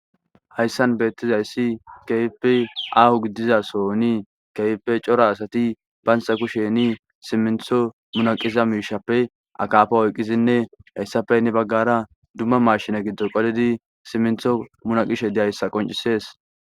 hayssan beettizayssi keype ahu giddiza soni keype cora asati banxa kusheni simintho munaqiza miishappe akafo oyqqizinne hayssapeynne baggara dumma mashina giddo qolidi simintho munaqishe deyayssa qoncisees